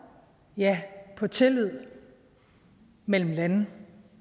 ja på tillid mellem lande